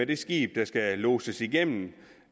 det skib der skal lodses igennem